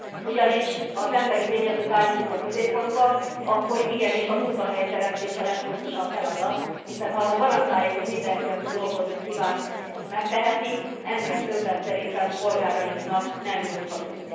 Ugyanis, ha az emberi tényezőt állítjuk a középpontba, akkor igenis a munkahelyteremtés a legfontosabb feladat, hiszen ha garantáljuk, hogy mindenki aki dolgozni kíván, ezt megteheti, ennél többet szerintem polgárainknak nem nyújthatunk.